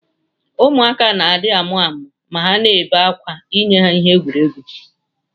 Ụmụaka na adi amụamu ma ha na bee akwa inyeha ihe ha ji egwuri egwu.